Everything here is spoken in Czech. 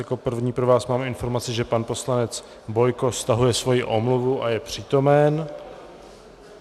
Jako první pro vás mám informaci, že pan poslanec Bojko stahuje svoji omluvu a je přítomen.